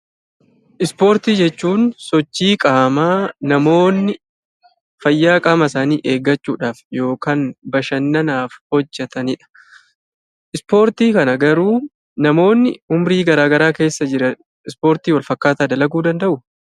Ispoortii jechuun sochii qaamaa namoonni fayyaa qaama isaanii eeggachuudhaaf yookaan bashannanaaf hojjetanidha. Ispoortii kana garuu namoonni umurii gara garaa keessa jiran Ispoortii wal fakkaataa dalaguu danda’uu?